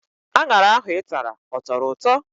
Aṅara ahụ Ị tara ọ tọrọ ụtọ?